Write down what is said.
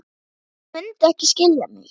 En hann mundi ekki skilja mig.